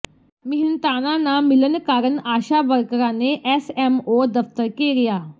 ਮਿਹਨਤਾਨਾ ਨਾ ਮਿਲਣ ਕਾਰਨ ਆਸ਼ਾ ਵਰਕਰਾਂ ਨੇ ਐਸਐਮਓ ਦਫ਼ਤਰ ਘੇਰਿਆ